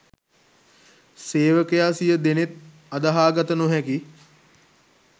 සේවකයා සිය දෙනෙත් අදහා ගත නොහැකි